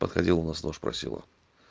проходила у нас тоже просила